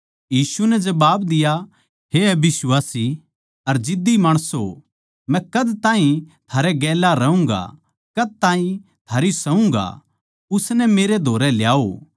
यीशु नै जबाब दिया हे अबिश्वासी अर जिद्दी माणसों मै कद ताहीं थारै गेल्या रहूँगा कद ताहीं थारी सहूँगा उसनै उरै मेरै धोरै ल्याओ